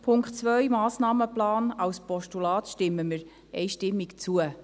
Dem Punkt 2, Massnahmenplan, als Postulat, stimmen wir einstimmig zu.